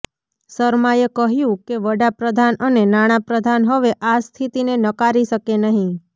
શર્માએ કહ્યું કે વડા પ્રધાન અને નાણાં પ્રધાન હવે આ સ્થિતિને નકારી શકે નહીં